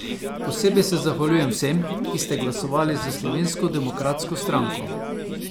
Posebej se zahvaljujem vsem, ki ste glasovali za Slovensko demokratsko stranko.